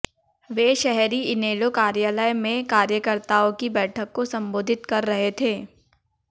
वे शहरी इनेलो कार्यालय में कार्यकर्ताओं की बैठक को सम्बोधित कर रहे थे